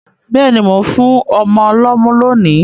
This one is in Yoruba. Béèni, mo n fún ọmọ lómú lónì